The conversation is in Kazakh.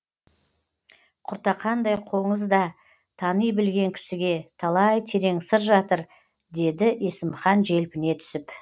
құртақандай қоңызда тани білген кісіге талай терең сыр жатыр деді есімхан желпіне түсіп